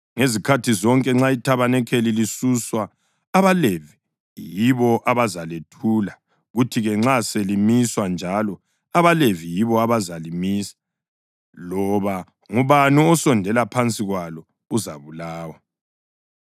Ngezikhathi zonke nxa ithabanikeli lisuswa abaLevi yibo abazalethula, kuthi-ke nxa selimiswa njalo, abaLevi yibo abazalimisa. Loba ngubani osondela phansi kwalo uzabulawa.